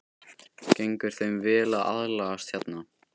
Gengur þeim vel að aðlagast hérna?